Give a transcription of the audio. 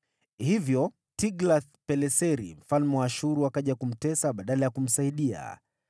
Hivyo Tiglath-Pileseri mfalme wa Ashuru akaja kumtesa badala ya kumsaidia.